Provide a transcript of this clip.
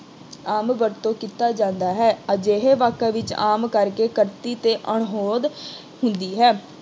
ਆਮ ਵਰਤੋਂ ਕੀਤਾ ਜਾਂਦਾ ਹੈ। ਅਜਿਹੇ ਵਾਕਾਂ ਵਿੱਚ ਆਮ ਕਰਕੇ ਅਤੇ ਅਣਹੋਂਦ ਹੁੰਦੀ ਹੈ।